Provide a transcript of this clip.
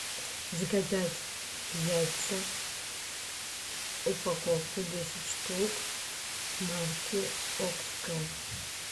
заказать яйца упаковку десять штук марки окское